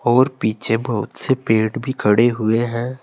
और पीछे बहुत से पेड़ भी खड़े हुए हैं।